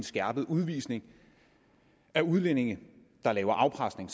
skærpet udvisning af udlændinge der laver afpresning